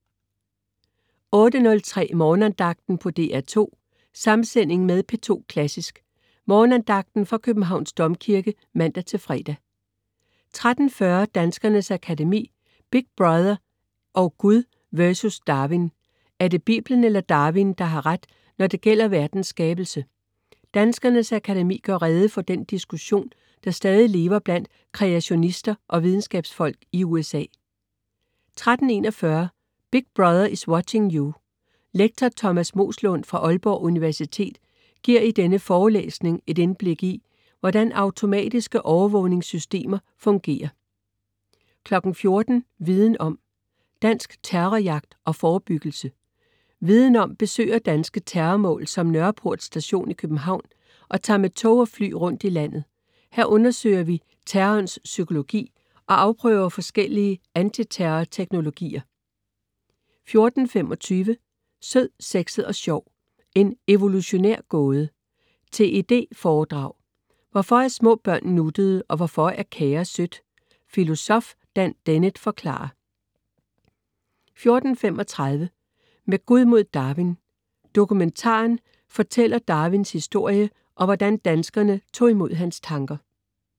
08.03 Morgenandagten på DR2. Samsending med P2 Klassisk: Morgenandagten fra Københavns Domkirke (man-fre) 13.40 Danskernes Akademi: Big Brother & Gud vs. Darwin. Er det Bibelen eller Darwin, der har ret, når det gælder verdens skabelse? Danskernes Akademi gør rede for den diskussion, der stadig lever blandt kreationister og videnskabsfolk i USA 13.41 Big Brother is watching you! Lektor Thomas Moeslund fra Aalborg Universitet giver i denne forelæsning et indblik i, hvordan automatiske overvågningssystemer fungerer 14.00 Viden Om. Dansk terrorjagt og forebyggelse. Viden Om besøger danske terrormål som Nørreport Station i København, og tager med tog og fly rundt i landet. Her undersøger vi terrorens psykologi og afprøver forskellige antiterror-teknologier 14.25 Sød, sexet og sjov, en evolutionær gåde. TED foredrag: Hvorfor er små børn nuttede, og hvorfor er kage sødt? Filosof Dan Dennett forklarer 14.35 Med Gud mod Darwin. Dokumentaren fortæller Darwins historie, og hvordan danskerne tog imod hans tanker